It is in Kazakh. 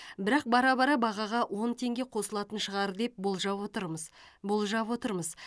бірақ бара бара бағаға он теңге қосылатын шығар деп болжап отырмыз болжап отырмыз